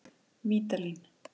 Vídalín